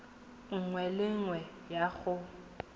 nngwe le nngwe ya go